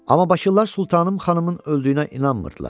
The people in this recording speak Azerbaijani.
Amma bakılılar Sultanım xanımın öldüyünə inanmırdılar.